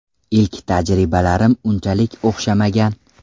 Ilk tajribalarim unchalik o‘xshamagan.